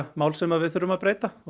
mál sem við þurfum að breyta og